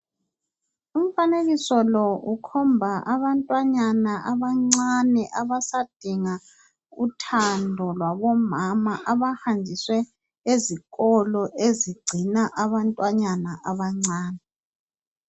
Umfanekiso lo ukhomba abantwanyana abancani abasadinga uthando lwabomama abahanjiswe ezikolo ezigcina abantwanyana abancani.